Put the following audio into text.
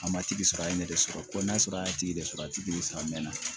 A matigi sɔrɔ a ye ne de sɔrɔ ko n'a sɔrɔ a ye tigi de sɔrɔ a tɛ de sɔrɔ a mɛnna